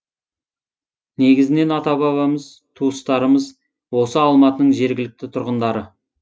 негізінен ата бабамыз туыстарымыз осы алматының жергілікті тұрғындары